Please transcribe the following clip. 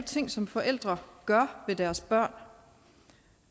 ting som forældre gør ved deres børn